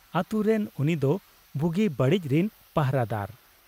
ᱟᱹᱛᱩ ᱨᱮᱱ ᱩᱱᱤᱫᱚ ᱵᱩᱜᱤ ᱵᱟᱹᱲᱤᱡ ᱨᱤᱱ ᱯᱟᱦᱨᱟ ᱫᱟᱨ ᱾